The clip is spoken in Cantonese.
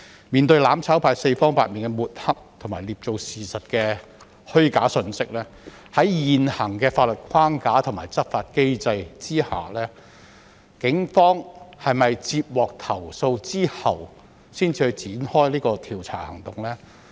面對"攬炒派"四方八面的抹黑和捏造事實的虛假信息，在現行的法律框架和執法機制下，警方是否在接獲投訴後才會展開調查行動？